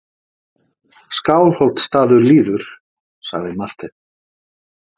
Skálholtsstaður líður, sagði Marteinn.